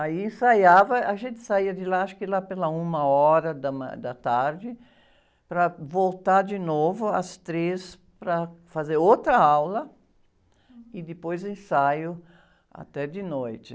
Aí ensaiava, a gente saía de lá, acho que lá pela uma hora da, da tarde, para voltar de novo às três para fazer outra aula e depois ensaio até de noite.